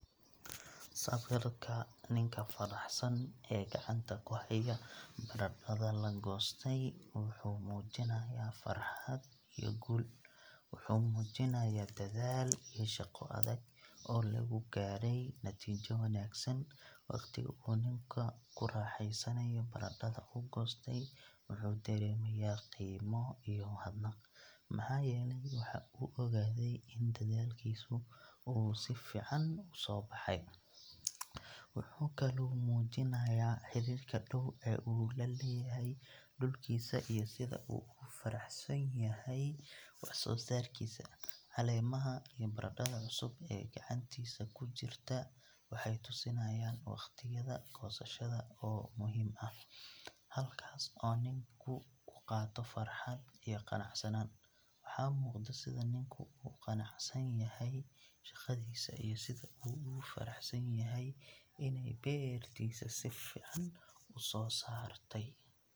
Sawirka ninka faraxsan ee gacanta ku haya baradhada la goostay wuxuu muujinayaa farxad iyo guul. Wuxuu muujinayaa dadaal iyo shaqo adag oo lagu gaaray natiijo wanaagsan. Waqtiga uu ninku ku raaxaysanayo baradhada uu goostay, wuxuu dareemayaa qiimo iyo mahadnaq, maxaa yeelay waxa uu ogaaday in dadaalkiisu uu si fiican u soo baxay. Wuxuu kaloo muujinayaa xiriirka dhow ee uu la leeyahay dhulkiisa iyo sida uu ugu faraxsan yahay waxsoosaarkiisa. Caleemaha iyo baradhada cusub ee gacantiisa ku jirta waxay tusinayaan wakhtiyada goosashada oo muhiim ah, halkaas oo ninku ku qaato farxad iyo qanacsanaan. Waxaa muuqda sida ninku ugu qanacsan yahay shaqadiisa iyo sida uu ugu faraxsanyahay inay beertiisu si fiican u soo saartay.